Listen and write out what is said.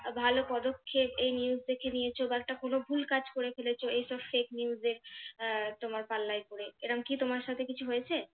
ভালো পদক্ষেপ এই news দেখে নিয়েছো বা একটা কোনো ভুল কাজ করে ফেলেছো এই সব fake news আহ তোমার পাল্লায় পরে এরম তোমার সাথে কিছু হয়েছে